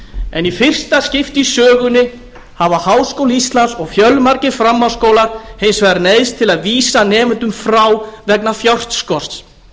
en í fyrsta skipti í sögunni hafa háskóli íslands og fjölmargir framhaldsskólar hins vegar neyðst til að vísa nemendum frá vegna fjárskorts